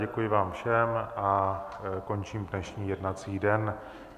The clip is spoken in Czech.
Děkuji vám všem a končím dnešní jednací den.